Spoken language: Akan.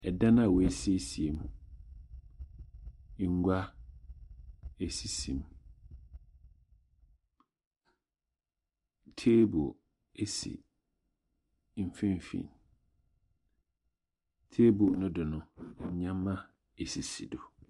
Dan a woesiesie mu. Ngua, sisi mu. Table si mfinimfin. Table no do no. ndzɛmba sisi do.